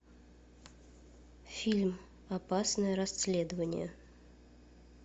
фильм опасное расследование